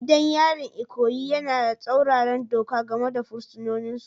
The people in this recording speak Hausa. Gidan yarin Ikoyi yana da tsauraran doka game da fursunonin su